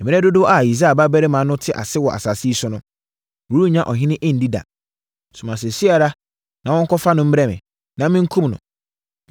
Mmerɛ dodoɔ a Yisai babarima no te ase wɔ asase yi so no, worennya ɔhene nni da. Soma seesei ara na wɔnkɔfa no mmrɛ me, na menkum no!”